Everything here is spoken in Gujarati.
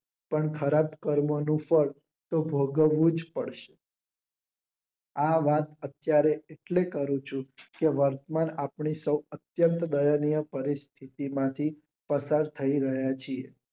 તેમ ખરાબ કર્મો નું ફળ તો ભોગવવું જ પડશે. આ વાત અત્યરે એટલે કરી છે કે વર્તમાન આપણે સૌ અતયંત બળનીય પરિસ્થિતિ માંથી પસાર થઇ રહ્યા છીએ.